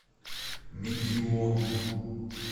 мегиону